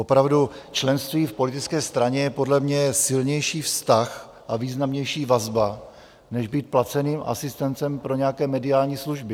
Opravdu, členství v politické straně je podle mě silnější vztah a významnější vazba než být placeným asistentem pro nějaké mediální služby.